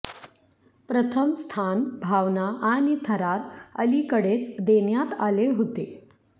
प्रथम स्थान भावना आणि थरार अलीकडेच देण्यात आले होते